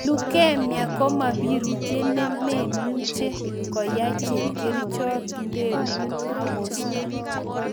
Leukemia koma birutiet ne imenuche koyeny chepkercihot ndeng'un akosto